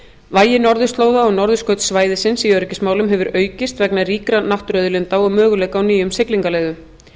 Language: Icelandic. vægi norðurslóða og norðurskautssvæðisins í öryggismálum hefur aukist vegna ríkra náttúruauðlinda og möguleika á nýjum siglingaleiðum